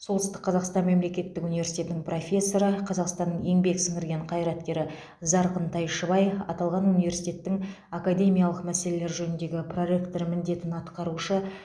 солтүстік қазақстан мемлекеттік университетінің профессоры қазақстанның еңбек сіңірген қайраткері зарқын тайшыбай аталған университеттің академиялық мәселелер жөніндегі проректор міндетін атқарушы